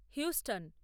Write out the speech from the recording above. Houston